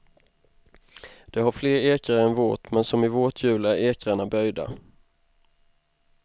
Det har fler ekrar än vårt men som i vårt hjul är ekrarna böjda.